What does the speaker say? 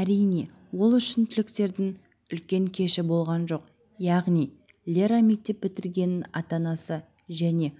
әрине ол үшін түлектердің үлкен кеші болған жоқ яғни лера мектеп бітіргенін ата-анасы және